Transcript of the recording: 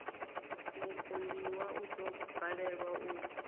mupondiwa u ḓo balelwa u